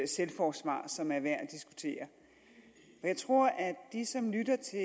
selvforsvar som er værd at diskutere jeg tror at de som lytter til